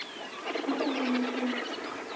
ku ta va na ku